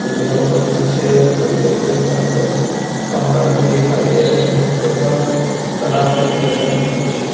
बिल्डिंगों के पीछे दूर देखने पर हमें पहाड़ भी दिखाई दे रहे हैं तथा तालाब के किनारे हमें कुछ --